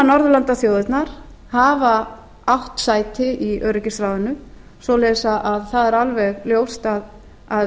norðurlandaþjóðirnar hafa átt sæti í öryggisráðinu svoleiðis að það er alveg ljóst að